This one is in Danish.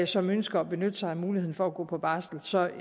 som ønsker at benytte sig af muligheden for at gå på barsel så jo